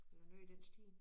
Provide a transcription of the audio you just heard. Eller noget i den stil